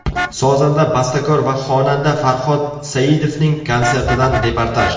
Sozanda, bastakor va xonanda Farhod Saidovning konsertidan reportaj .